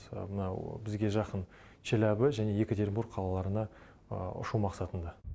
мынау бізге жақын челябі және екатеринбург қалаларына ұшу мақсатында